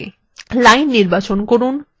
line নির্বাচন করুন